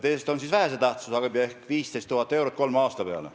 Teine on vähese tähtsusega abi, 15 000 eurot kolme aasta peale.